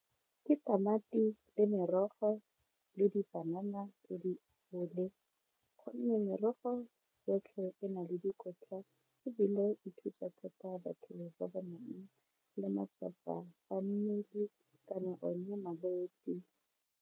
Ke tamati le merogo le dipanana tse di botlhale gonne merogo yotlhe e na le dikotla ebile e thusa thata batho ba ba nang le matsapa a mmele kana one malwetsi.